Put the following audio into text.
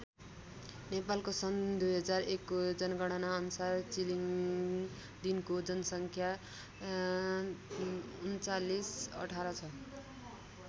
नेपालको सन् २००१ को जनगणना अनुसार चिलिङदिनको जनसङ्ख्या ३९१८ छ।